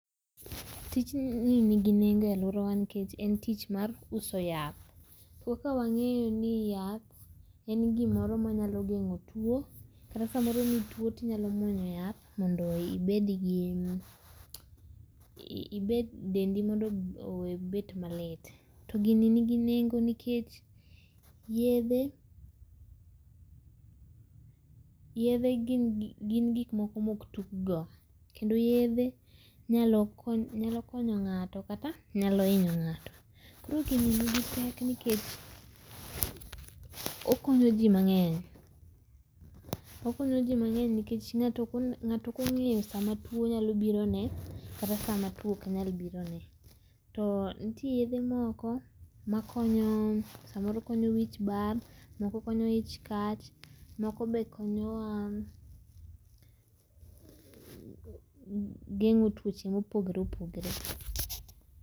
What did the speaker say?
Tijni ni gi nengo e aluorawa nikech en tich mar uso yath. Kaka wang'eyo ni yath en gimoro ma nyalo geng'o tuo kata samoro ki ituo to inyalo muonyo yath mondo ibed gi dendi mondo owe bet ma lit to gini ni gi nengo nikech yedhe gin gik moko ma ok tug go kendo yedhe nyalo konyo ng'ato kata nyalo inyo ng'ata koro gi ni gi pek nikech okonyo ji mangeny okonyo ji mangeny nikech ng'ato ok ong'eyo sa ma tuo nyalo biro ne kata sama tuo oknyal biro ne. To nitie yedhe moko ma konyo samoro konyo wich bar, moko konyo ich kach, moko be konyo geng'o tuoche ma oogore opogore.